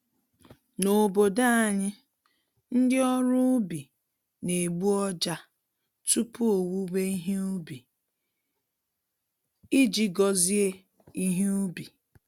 N’obodo anyị, ndị ọrụ ubi na-egbu ọjà tupu owuwe ihe ubi, iji gozie ihe ubi.